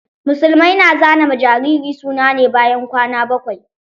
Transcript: Musulmai na zana ma jariri suna ne bayan kwana bakwai.